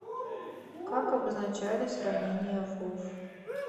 как обозначались ранения в вов